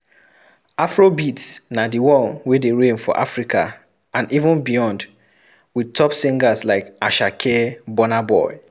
Afrobeat na di one wey de reign for Africa and even beyond with top singers like Asake, Burnaboy